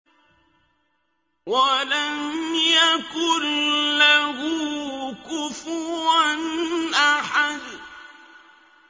وَلَمْ يَكُن لَّهُ كُفُوًا أَحَدٌ